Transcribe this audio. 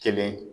Kelen